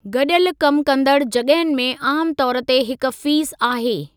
गॾियल कमु कंदड़ु जॻहुनि में आमु तौर ते हिक फ़ीस आहे।